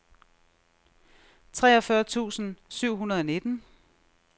treogfyrre tusind syv hundrede og nitten